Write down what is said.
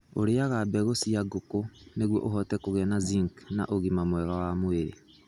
Ũrĩaga mbegũ cia ngũkũ nĩguo ũhote kũgĩa na zinc na ũgima mwega wa mwĩrĩ.